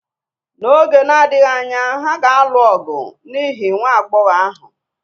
N’oge na-adịghị anya, ha ga-alụ ọgụ n’ihi nwa agbọghọ ahụ